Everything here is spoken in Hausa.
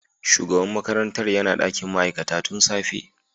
Shugaban makarantar yana dakin ma'aikata tun safe.